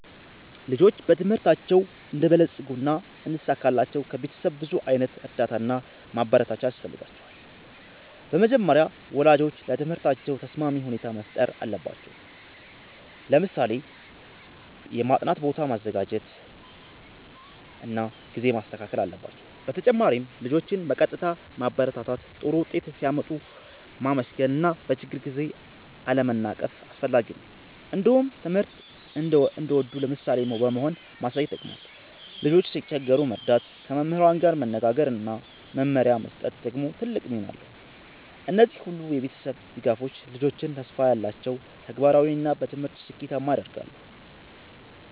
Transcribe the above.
ልጆች በትምህርታቸው እንዲበለጽጉና እንዲሳካላቸው ከቤተሰብ ብዙ ዓይነት እርዳታ እና ማበረታቻ ያስፈልጋቸዋል። በመጀመሪያ ወላጆች ለትምህርታቸው ተስማሚ ሁኔታ መፍጠር አለባቸው፣ ለምሳሌ የማጥናት ቦታ ማዘጋጀት እና ጊዜ ማስተካከል። በተጨማሪም ልጆችን በቀጥታ ማበረታታት፣ ጥሩ ውጤት ሲያመጡ ማመስገን እና በችግር ጊዜ አለመናቀፍ አስፈላጊ ነው። እንዲሁም ትምህርት እንዲወዱ ምሳሌ በመሆን ማሳየት ይጠቅማል። ልጆች ሲቸገሩ መርዳት፣ ከመምህራን ጋር መነጋገር እና መመሪያ መስጠት ደግሞ ትልቅ ሚና አለው። እነዚህ ሁሉ የቤተሰብ ድጋፎች ልጆችን ተስፋ ያላቸው፣ ተግባራዊ እና በትምህርት ስኬታማ ያደርጋሉ።